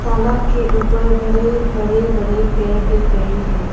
तालाब के ऊपर बरे बरे बरे पेड़ दिख रही है।